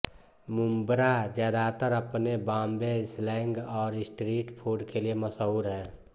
मुंब्रा ज्यादातर अपने बॉम्बे स्लैंग और स्ट्रीट फूड के लिए मशहुर है